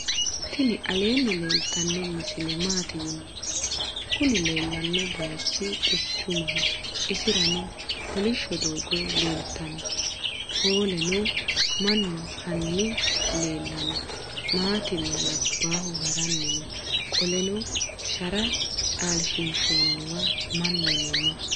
tini alenni leeltano misile. mati yinumoro. kuuni lelanohu bayichu quchumsho. iisirano koolisho dogo leltano. poleno. maanu hani leelano matinna labahu haarani noo. qoleno shara calshinshoniwa maanuno noo.